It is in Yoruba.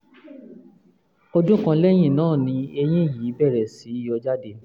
ọdún kan lẹ́yìn náà ni eyín yìí bẹ̀rẹ̀ sí yọ jáde